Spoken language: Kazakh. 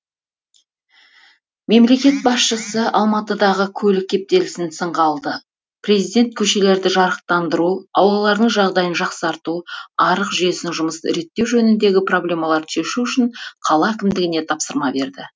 мемлекет басшысы алматыдағы көлік кептелісін сынға алды президент көшелерді жарықтандыру аулалардың жағдайын жақсарту арық жүйесінің жұмысын реттеу жөніндегі проблемаларды шешу үшін қала әкімдігіне тапсырма берді